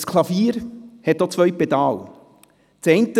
Ein Klavier hat auch zwei Pedale.